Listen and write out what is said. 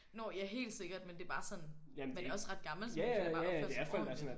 Nå ja helt sikkert men det er bare sådan man er også ret gammel så man skulle bare kunne opføre sig ordenligt